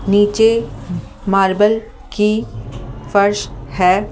नीचे मार्बल की फर्श है ।